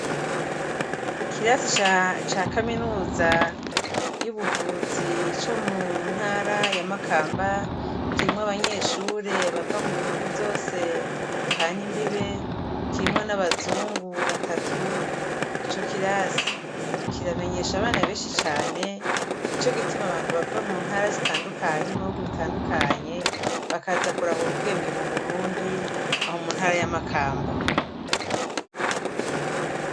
Ikirasi ca kaminuza y'ubuvuzi co mu ntara ya Makamba, kirimwo abanyeshure bava mu bihugu vyose duhana imbibe, kirimwo n'abazungu batatu, ico kirasi kiramenyesha abana benshi cane, nico gituma abantu bava mu ntara zitandukanye no mu ntara zitandukanye, bakaza kurahura ubwenge mu Burundi, aho mu ntara ya Makamba.